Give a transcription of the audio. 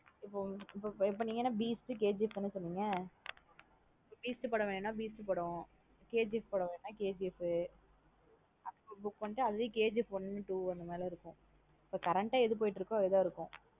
இப்போ இப்போ நீங்க என்ன beast KGF தான சொன்னீங்க beast படம் வேணுன beast படம் KGF படம் வேணுன KGF book பண்ணிட்டு அதுலய KGF one two அந்த மாத்ரி இருக்கும். இப்போ current ஆ எது போயிட்டு இருக்கோ அதன் இருக்கும்.